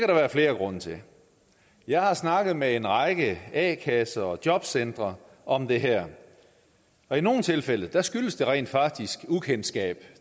der være flere grunde til jeg har snakket med en række a kasser og jobcentre om det her og i nogle tilfælde skyldes det rent faktisk ukendskab